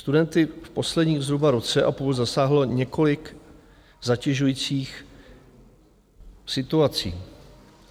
Studenty v posledním zhruba roce a půl zasáhlo několik zatěžujících situací.